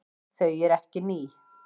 Þau eru ekki ný.